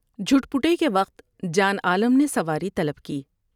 جھٹپٹے کے وقت جان عالم نے سواری طلب کی ۔